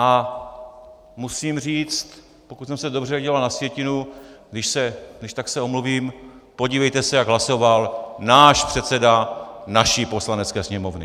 A musím říct, pokud jsem se dobře díval na sjetinu, když tak se omluvím, podívejte se, jak hlasoval náš předseda naší Poslanecké sněmovny!